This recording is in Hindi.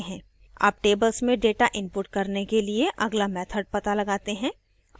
अब tables में data input करने के लिए अगला method पता लगाते हैं